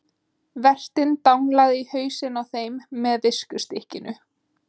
Vertinn danglaði í hausinn á þeim með viskustykkinu.